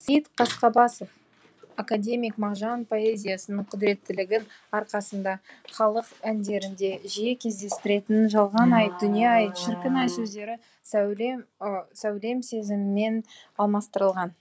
сейіт қасқабасов академик мағжан поэзиясының құдіреттілігінің арқасында халық әндерінде жиі кездесетін жалған ай дүние ай шіркін ай сөздері сәулем сезімімен алмастырылған